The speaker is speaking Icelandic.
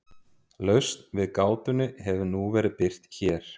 Lausn við gátunni hefur nú verið birt hér.